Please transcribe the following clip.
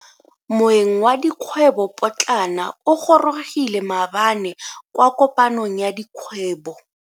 Moeng wa dikgwrbo potlana o gorogile maabane kwa kopanong ya dikgwebo.